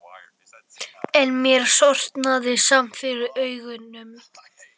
En mér sortnaði samt fyrir augum.